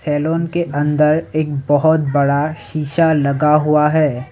Salon के अंदर एक बहोत बड़ा शीशा लगा हुआ है।